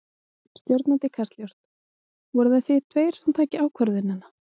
Stjórnandi Kastljóss: Voruð það þið tveir sem takið ákvörðunina?